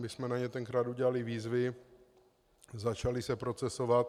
My jsme na ně tenkrát udělali výzvy, začaly se procesovat.